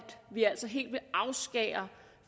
vi altså helt vil afskære